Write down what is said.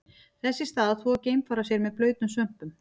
Þess í stað þvo geimfarar sér með blautum svömpum.